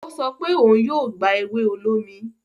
o sọ pe òún yóò gba ewe olómi.